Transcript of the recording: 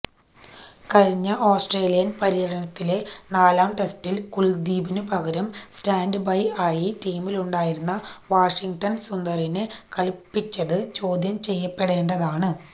കഴിഞ്ഞ ഓസ്ട്രേലിയന് പര്യടനത്തിലെ നാലാം ടെസ്റ്റില് കുല്ദീപിനു പകരം സ്റ്റാന്റ്ബൈ ആയി ടീമിലുണ്ടായിരുന്ന വാഷിങ്ടണ് സുന്ദറിനെ കളിപ്പിച്ചത് ചോദ്യം ചെയ്യപ്പെടേണ്ടതാണ്